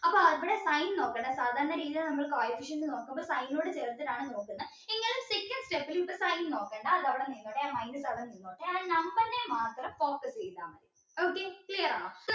അപ്പോ അവിടെ sign നോക്കണം സാധാരണ രീതിയിൽ നമ്മള് coefficient നോക്കുമ്പോൾ sign നോട് ചേർത്തിട്ടാണ് നോക്കുന്നത് ഇങ്ങനെ second step ൽ ഇപ്പൊ sign നോക്കണ്ട അതവിടെ നിന്നോട്ടെ minus അവിടെ നിന്നോട്ടെ and number നെ മാത്രം focus ചെയ്ത മതി okay clear ആണോ